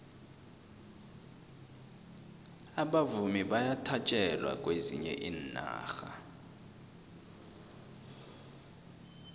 abavumi bayathatjelwa kwezinye iinarha